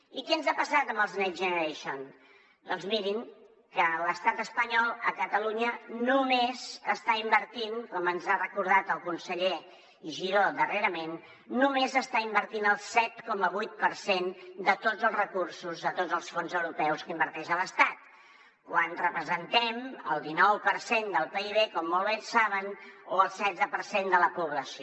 i què ens ha passat amb els next generation doncs mirin que l’estat espanyol a catalunya només està invertint com ens ha recordat el conseller giró darrerament el set coma vuit per cent de tots els recursos de tots els fons europeus que inverteix a l’estat quan representem el dinou per cent del pib com molt bé saben o el setze per cent de la població